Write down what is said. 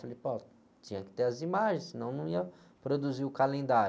Falei, pô, tinha que ter as imagens, senão não ia produzir o calendário.